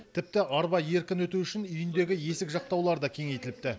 тіпті арба еркін өту үшін үйіндегі есік жақтаулары да кеңейтіліпті